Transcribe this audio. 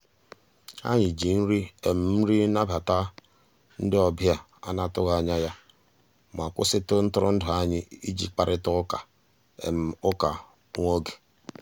anyị jì nrì nrì nàbàtà ndị um ọbìà a nà-atụghị anyà yá mà kwụsịtụ ntụrụndụ anyị ìjì kparịtà ụkà ụkà nwá ògè.